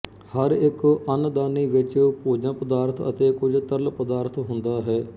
ਹਰ ਇੱਕ ਅੰਨਦਾਨੀ ਵਿੱਚ ਭੋਜਨਪਦਾਰਥ ਅਤੇ ਕੁੱਝ ਤਰਲ ਪਦਾਰਥ ਹੁੰਦਾ ਹੈ